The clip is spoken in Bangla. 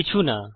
কিছু না